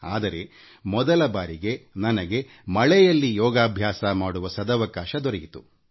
ಆದರೆ ಮೊದಲ ಬಾರಿಗೆ ನನಗೆ ಮಳೆಯಲ್ಲಿ ಯೋಗ ಮಾಡುವ ಸದವಕಾಶ ದೊರೆಯಿತು